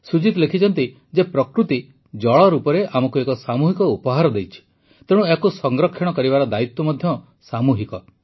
ସୁଜିତ୍ ଜୀ ଲେଖିଛନ୍ତି ଯେ ପ୍ରକୃତି ଜଳ ରୂପରେ ଆମକୁ ଏକ ସାମୂହିକ ଉପହାର ଦେଇଛି ତେଣୁ ଏହାକୁ ସଂରକ୍ଷଣ କରିବାର ଦାୟିତ୍ୱ ମଧ୍ୟ ସାମୂହିକ